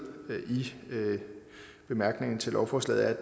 i bemærkningerne til lovforslaget